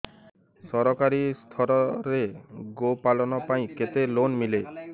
ସରକାରୀ ସ୍ତରରେ ଗୋ ପାଳନ ପାଇଁ କେତେ ଲୋନ୍ ମିଳେ